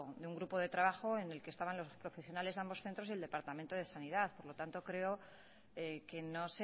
de un grupo de trabajo en el que estaban los profesionales de ambos centros y el departamento de sanidad por lo tanto creo que no